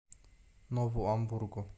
нову амбургу